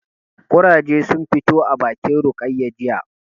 Ƙurage sun fito a bakin Rukayya jiya